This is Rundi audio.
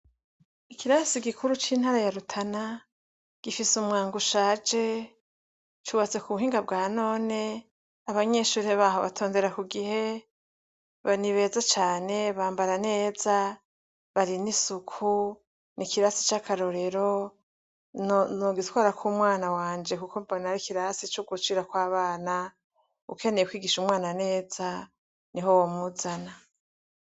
Ikirasi gikuru c'intara ya rutana gifise umwango ushaje cubatse ku buhinga bwa none abanyeshure baho batondera ku gihe banibeza cane bambara neza bari n'isuku n' ikirasi cy'akarorero nogitwarako umwana wanje kuko mbona ari ikirasi c'ugushirako abana ,ukeneye kwigisha umwana neza niho wo muzana.